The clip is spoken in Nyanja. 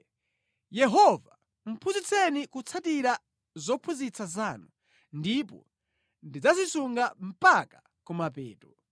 Yehova, phunzitseni kutsatira zophunzitsa zanu; ndipo ndidzazisunga mpaka kumapeto.